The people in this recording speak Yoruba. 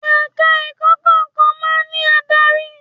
Ẹ̀ka ẹ̀kọ́ kọ̀ọ̀kan máa ń ní adarí.